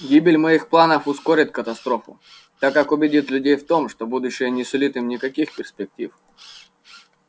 гибель моих планов ускорит катастрофу так как убедит людей в том что будущее не сулит им никаких перспектив